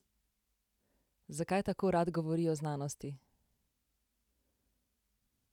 Zakaj tako rad govori o znanosti?